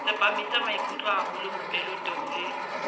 tsepamisa maikutlo haholo mopeletong le